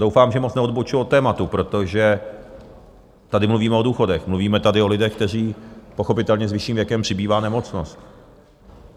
Doufám, že moc neodbočuju od tématu, protože tady mluvíme o důchodech, mluvíme tedy o lidech, kterým pochopitelně s vyšším věkem přibývá nemocnost.